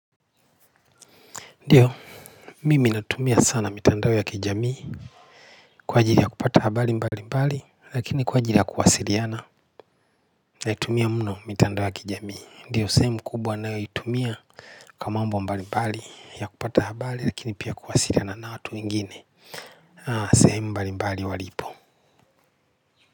Ndiyo mimi natumia sana mitandao ya kijamii kwa ajili ya kupata habari mbalimbali lakini kwa ajili ya kuwasiliana. Naitumia mno mitandao ya kijamii ndiyo sehemu kubwa ninayoitumia. Kwa mambo mbali mbali ya kupata habari lakini pia kuwasiliana na watu wengine na sehemu mbalimbali walipo.